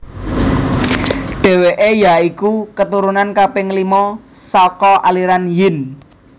Dheweke ya iku keturunan kaping lima saka aliran Yin